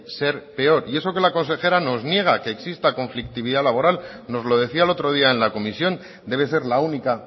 ser peor y eso que la consejera nos niega que exista conflictividad laboral nos lo decía el otro día en la comisión debe ser la única